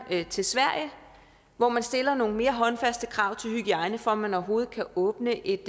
til sverige hvor man stiller nogle mere håndfaste krav til hygiejne for at man overhovedet kan åbne et